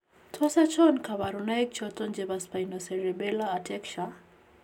Tos achon kabarunaik choton chebo Spinocerebellar ataxia ?